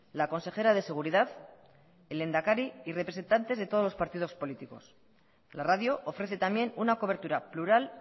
la consejera de seguridad el lehendakari y representantes de todos los partidos políticos la radio ofrece también una cobertura plural